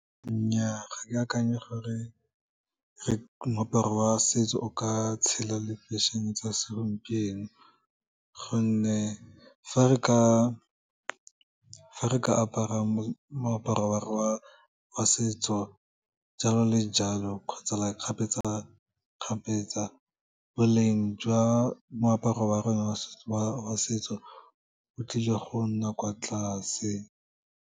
Nnyaa, ga ke akanye gore moaparo wa setso o ka tshela le fashion-e tsa segompieno, gonne fa re ka apara moaparo wa setso jalo le jalo kgotsa like kgapetsa-kgapetsa boleng jwa moaparo wa rona wa setso, o tlile go nna kwa tlase.